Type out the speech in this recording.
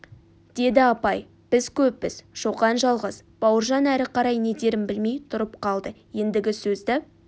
деді апай біз көппіз шоқан жалғыз бауыржан әрі қарай не дерін білмей тұрып қалды ендігі сөзді